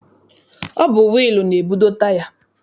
Ọ bụ wịịlụ na-ebudo taya.